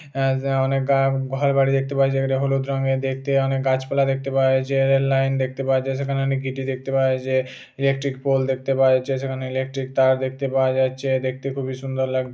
আ যা অনেক গা ঘর বাড়ি দেখতে পাওয়া যায় যেগুলি হলুদ রঙ্গের দেখতে। অনেক গাছপালা দেখতে পাওয়া যাচ্ছে। রেল লাইন দেখতে পাওয়া যায় সেখানে অনেক গিটি দেখতে পাওয়া যাচ্ছে ইলেক্ট্রিক পোল দেখতে পাওয়া যাচ্ছে সেখানে ইলেক্ট্রিক তার দেখতে পাওয়া যাচ্ছে দেখতে খুবই সুন্দর লাগ --